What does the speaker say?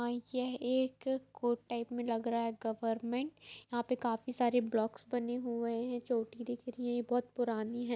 यह एक court type मे लग रहा है गवरमेंट यहां पर काफी सारे ब्लोक्स बने हुए है जो भी दिख रही है बहोत पुरानी है।